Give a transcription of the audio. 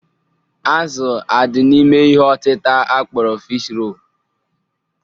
Azụ adị n'ime ihe ọtịta akpọrọ Fish role?